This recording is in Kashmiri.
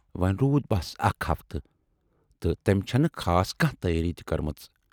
وۅنۍ روٗد بَس اَکھ ہفتہٕ تہٕ تٔمۍ چَھنہٕ خاص کانہہ تیٲری تہِ کٔرمٕژ۔